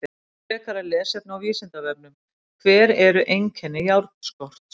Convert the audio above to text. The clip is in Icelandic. Frekara lesefni á Vísindavefnum: Hver eru einkenni járnskorts?